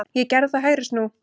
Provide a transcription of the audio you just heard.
Ég gerði það, hægri snú.